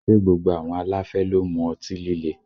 Ṣé gbogbo àwọn aláfẹ́ ló ń mu ọtí líle?